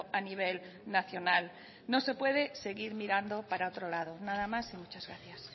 a nivel nacional no se puede seguir mirando para otro lado nada más y muchas gracias